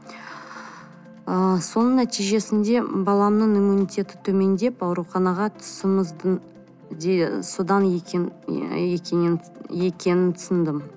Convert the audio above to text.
ы соның нәтижесінде баламның иммунитеті төмендеп ауруханаға содан екенін түсіндім